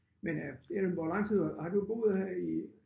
Men øh jamen hvor lang tid har du boet her i